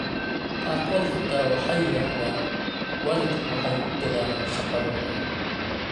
Qaarkood xitaa waxay yiraahdaan waalidku waxay ku dadaalaan shaqadooda.